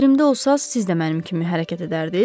Yerimdə olsanız, siz də mənim kimi hərəkət edərdiniz.